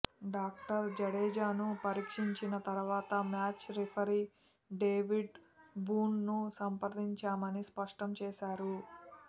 doctor జడేజాను పరీక్షించిన తర్వాత మ్యాచ్ రిఫరీ డేవిడ్ బూన్ను సంప్రదించామని స్పష్టం చేశారు